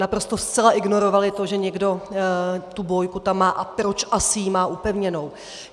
naprosto zcela ignorovali to, že někdo tu bójku tam má a proč asi ji má upevněnou.